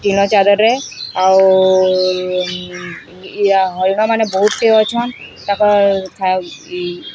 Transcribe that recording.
ଟିଣ ଜାଲରେ ଆଉ ଇଆ ହରିଣ ମାନେ ବୋହୁଟି ଅଛନ୍ ତା ପରେ ଖାଉଟି --